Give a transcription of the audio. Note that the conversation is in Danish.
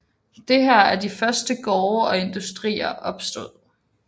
Det er her de første gårde og industrier opstod